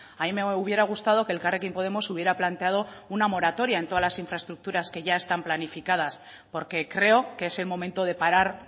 a mí me hubiera gustado que elkarrekin podemos hubiera planteado una moratoria en todas las infraestructuras que ya están planificadas porque creo que es el momento de parar